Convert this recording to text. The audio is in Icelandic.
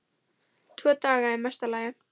Tvo daga í mesta lagi.